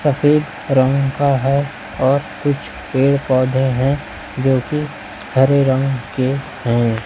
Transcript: सफेद रंग का है और कुछ पेड़ पौधे है जोकि हरे रंग के हैं।